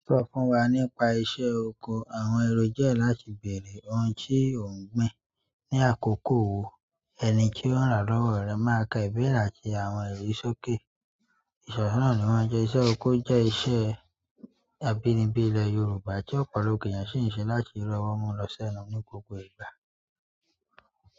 Sọ fún wa nípa iṣẹ́ oko. Àwọn èrò jẹ́ láti bèrè ohun tí ò ń gbìn. Ni àkókò wo ẹni tí ó ń rà lọ́wọ́ rẹ máa ka ìbéra ti àwọn èrò sókè. Ìṣọ̀ṣọ́ náà ni wọ́n jẹ́ iṣẹ́ oko jẹ́ iṣẹ́ abínibí ilẹ̀ Yorùbá tí ọ̀pọ̀lọpọ̀ ènìyàn sì ń ṣe láti rí ọwọ́ mú lọ́sẹ̀ ẹnu ní gbogbo ìgbà.